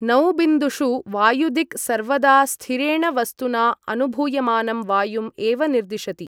नौबिन्दुषु वायुदिक् सर्वदा स्थिरेण वस्तुना अनुभूयमानं वायुम् एव निर्दिशति।